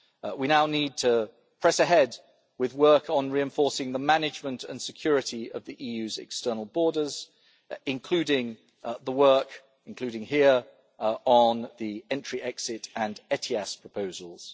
We now need to press ahead with work on reinforcing the management and security of the EU's external borders, including the work on the entry-exit and ETIAS proposals.